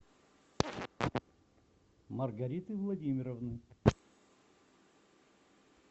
маргариты владимировны